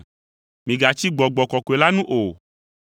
Migatsi Gbɔgbɔ Kɔkɔe la nu o.